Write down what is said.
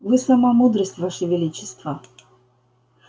вы сама мудрость ваше величество